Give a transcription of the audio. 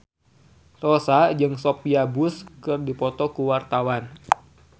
Rossa jeung Sophia Bush keur dipoto ku wartawan